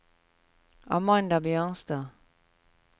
Amanda Bjørnstad